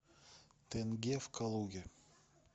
тенге в калуге